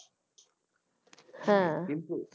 হ্যাঁ